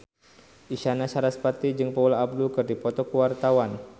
Isyana Sarasvati jeung Paula Abdul keur dipoto ku wartawan